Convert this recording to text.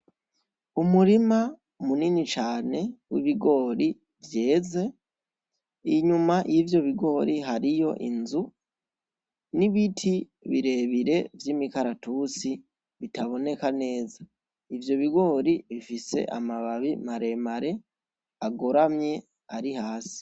Umurima munini cane w'ibigori vyeze, inyuma y'ivyo bigori hariyo inzu, n'ibiti birebire vy'imikaratusi bitaboneka neza, ivyo bigori bifise amababi maremare agoramye ari hasi.